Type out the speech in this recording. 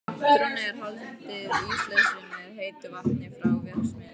Þrónni er haldið íslausri með heitu vatni frá verksmiðjunni.